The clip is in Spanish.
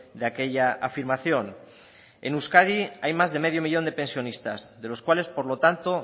de aquella afirmación en euskadi hay más de medio millón de pensionistas de los cuales por lo tanto